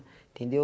Entendeu?